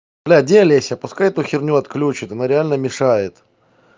бля где олеся пускай эту херню отключат она реально мешает